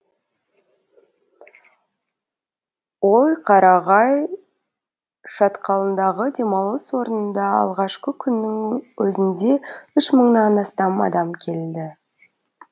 ой қарағай шатқалындағы демалыс орнында алғашқы күннің өзінде үш мыңнан астам адам келді